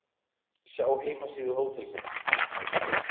Sjá heimasíðu hótelsins